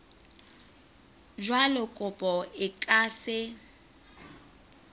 jwalo kopo e ka se